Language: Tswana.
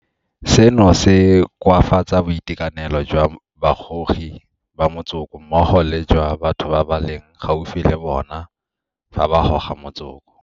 Seno se koafatsa boitekanelo jwa bagogi ba motsoko mmogo le jwa batho ba ba leng gaufi le bona fa ba goga motsoko.